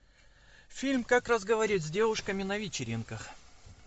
фильм как разговаривать с девушками на вечеринках